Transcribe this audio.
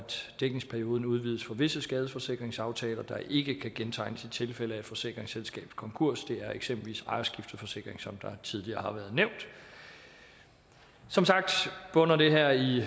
dækningsperioden udvides for visse skadesforsikringsaftaler der ikke kan gentegnes i tilfælde af forsikringsselskabets konkurs det er eksempelvis ejerskifteforsikringer som tidligere har været nævnt som sagt bunder det her i